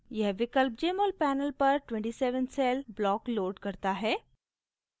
यह विकल्प jmol panel पर 27 cell block loads करता है